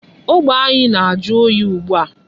Ogbe anyị na-ajụ oyi ugbu a.